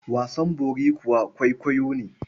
Wasan bori kuwa kwaikwayo ne.